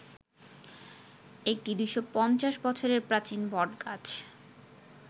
একটি ২৫০ বছরের প্রাচীন বটগাছ